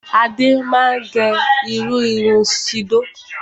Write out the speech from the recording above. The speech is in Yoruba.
Adé máa gẹ irú irun síòdò.